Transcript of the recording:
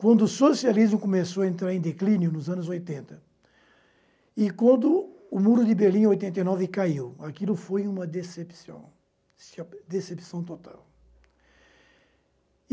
Quando o socialismo começou a entrar em declínio, nos anos oitenta, e quando o muro de Berlim, em oitenta e nove, caiu, aquilo foi uma decepção, decepção total.